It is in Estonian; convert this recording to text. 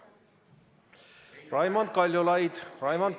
Raimond Kaljulaid!